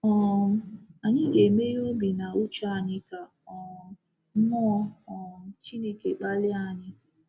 um Anyị ga-emeghe obi na uche anyị ka um Mmụọ um Chineke kpalie anyị.